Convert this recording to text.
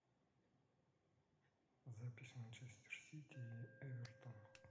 запись манчестер сити и эвертон